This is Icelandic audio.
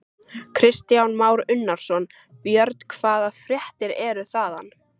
Kristján Már Unnarsson: Björn, hvaða fréttir eru þaðan?